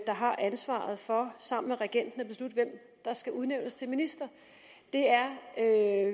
der har ansvaret for sammen med regenten at beslutte hvem der skal udnævnes til minister det er